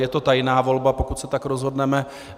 Je to tajná volba, pokud se tak rozhodneme.